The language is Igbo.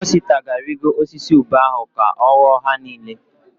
Osita ga-arịgo osisi ube ahụ ka ọ ghọọ ha niile.